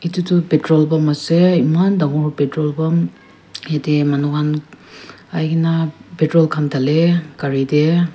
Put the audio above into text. etu tu patrol pump ase eman dagur patrol pump jatte many khan ahe kina patrol khan Dale gari te.